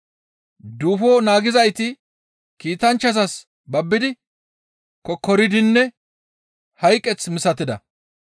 Duufo naagizayti kiitanchchazas babbi kokkoridinne hayqeth misatida.